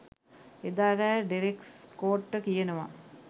එදා රෑ ඩෙරෙක් ස්කොට්ට කියනවා